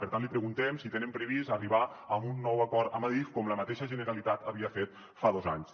per tant li preguntem si tenen previst arribar a un nou acord amb adif com la mateixa generalitat havia fet fa dos anys